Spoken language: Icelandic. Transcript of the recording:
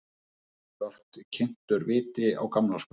Þar var oft kyntur viti á gamlárskvöld.